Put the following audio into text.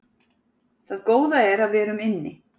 Það góða er að við erum inni